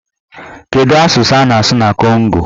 Kedụ asụsụ a na-asụ na Kongo?